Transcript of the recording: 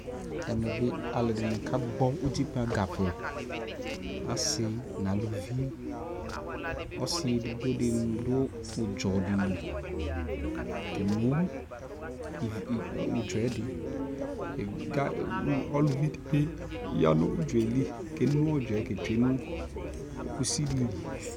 Ɛmɛ bi alʋɛdini kagbɔ utikpa ga vɛ Asi nʋ alʋvi, ɔsi edigbo di dʋ ʋdzɔ di li keno ivi, ʋdzɔ yɛ di, kʋ uluvi di bi ya nʋ ʋdzɔ yɛ li keno ʋdzɔ yɛ ketsue nʋ kusi di li